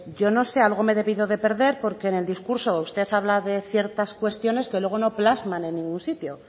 yo no sé algo me he debido de perder porque en el discurso usted habla de ciertas cuestiones que luego no plasman en ningún sitio